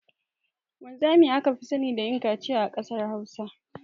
Wanzami aka fi sani da yin kaciya a kasar hausa.